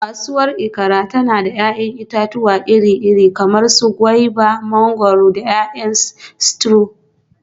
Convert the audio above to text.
Kasuwar Ikaare tana da 'ya'yan itatuwa iri-iri kamar su guavas, mangwaro, da 'ya'yan citrus.